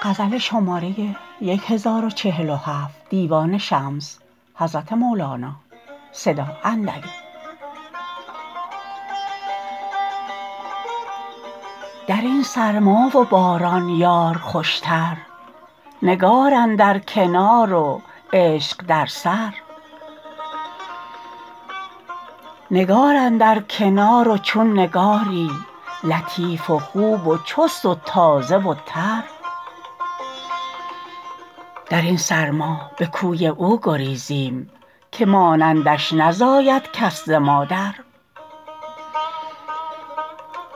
در این سرما و باران یار خوشتر نگار اندر کنار و عشق در سر نگار اندر کنار و چون نگاری لطیف و خوب و چست و تازه و تر در این سرما به کوی او گریزیم که مانندش نزاید کس ز مادر